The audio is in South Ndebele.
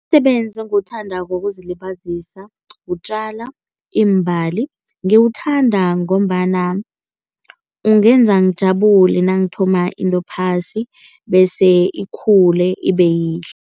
Umsebenzi engiwuthandako wokuzilibazisa kutjala iimbali. Ngiwuthanda ngombana ungenza ngijabule nangithoma into phasi bese ikhule ibeyihle.